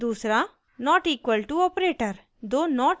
2 दूसरा: != not equal to operator